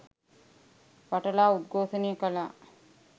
වටලා උද්ඝෝෂණය කලා.